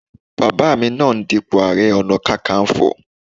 Bàbá mi náà ń dípò ààrẹ ọ̀nà kakaǹfò